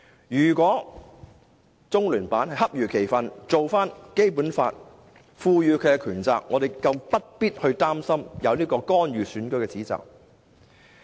如果中聯辦恰如其分地做到《基本法》賦予的權責，我們更不必擔心有干預選舉的指責。